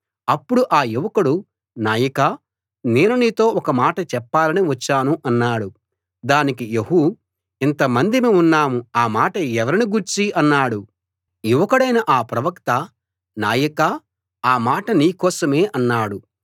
అప్పుడు ఆ యువకుడు నాయకా నేను నీతో ఒక మాట చెప్పాలని వచ్చాను అన్నాడు దానికి యెహూ ఇంతమందిమి ఉన్నాం ఆ మాట ఎవరిని గూర్చి అన్నాడు యువకుడైన ఆ ప్రవక్త నాయకా ఆ మాట నీ కోసమే అన్నాడు